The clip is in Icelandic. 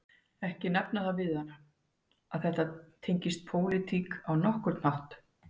Ekki nefna það við hana að þetta tengist pólitík á nokkurn hátt